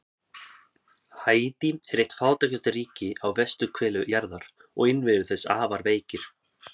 Haítí er eitt fátækasta ríki á vesturhveli jarðar og innviðir þess afar veikir.